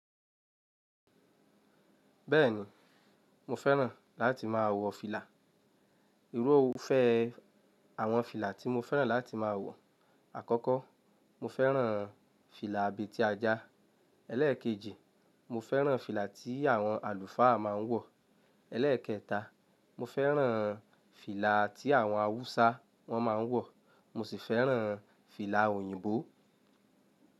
Bẹ́ẹ̀ni, mo fẹ́ràn láti máa wọ fìlà. Irúfẹ́ àwọn fìlà tí mo fẹ́ràn láti máa wọ, àkọ́kọ́, mo fẹ́ràn fìlà abètí ajá. Élékèjì, mo fẹ́ràn fìlà tí àwọn àlùfáà máa ń wọ̀. Élékẹta, mo fẹ́ràn fìlà tí àwọn Haúsá wọ́n máa ń wọ̀. Mo sì fẹ́ràn fìlà òyìnbó.